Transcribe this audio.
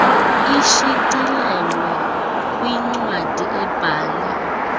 ishicilelwe kwincwadi ebhale